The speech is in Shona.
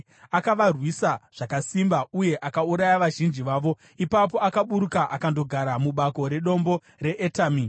Akavarwisa zvakasimba uye akauraya vazhinji vavo. Ipapo akaburuka akandogara mubako redombo reEtami.